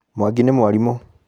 Mwangi nĩ mwarimũ.